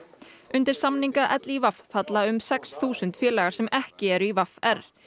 undir samninga falla um sex þúsund félagar sem ekki eru í v r